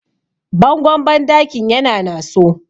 bangon bandakin yana naso